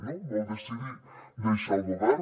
no vau decidir deixar el govern